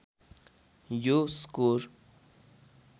यो स्कोर